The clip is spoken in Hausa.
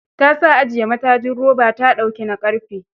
Ta sa ajiye matajin roba ta ɗaauki na ƙarfe.